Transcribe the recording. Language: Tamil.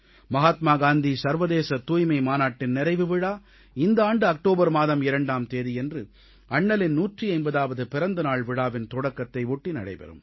மகாத்மா காந்தி சர்வதேச தூய்மை மாநாட்டின் நிறைவு விழா இந்த ஆண்டு அக்டோபர் மாதம் 2ஆம் தேதியன்று அண்ணலின் 150ஆவது பிறந்த நாள் விழாவின் தொடக்கத்தை ஒட்டி நடைபெறும்